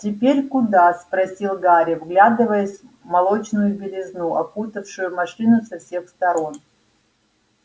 теперь куда спросил гарри вглядываясь в молочную белизну окутавшую машину со всех сторон